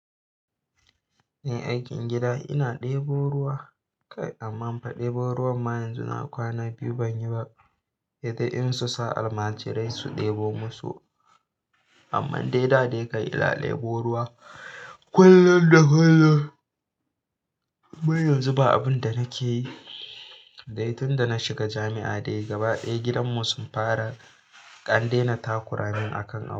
Ni aikin gida ina ɗebo ruwa kai amma fa ɗebo ruwan ma yanzu na kwana biyu ban yi ba. Sedai in su sa almajirai su ɗebo musu amma dai da dai kan ina ɗebo ruwa kullum da kullum. Amman yanzu ba abin da nake yi. Dai tun da na shiga jami'a dai gaba ɗaya gidanmu sun fara andaina takuramin a kan abu.